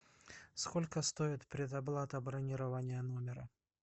сколько стоит предоплата бронирования номера